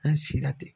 An si la ten